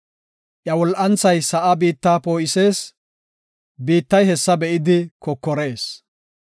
Iya wol7anthay bitta ubbaa poo7isees; biittay hessa be7idi kokorees.